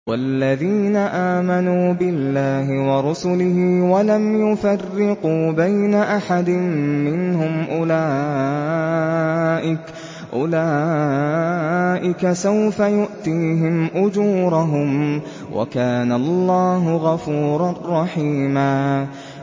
وَالَّذِينَ آمَنُوا بِاللَّهِ وَرُسُلِهِ وَلَمْ يُفَرِّقُوا بَيْنَ أَحَدٍ مِّنْهُمْ أُولَٰئِكَ سَوْفَ يُؤْتِيهِمْ أُجُورَهُمْ ۗ وَكَانَ اللَّهُ غَفُورًا رَّحِيمًا